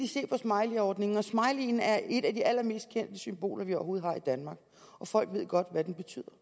hjælp af smileyordningen og smileyen er et af de allermest kendte symboler vi overhovedet har i danmark folk ved godt hvad den betyder